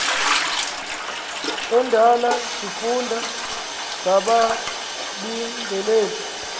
endala sifunda ngababingeleli